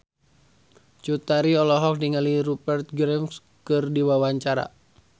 Cut Tari olohok ningali Rupert Graves keur diwawancara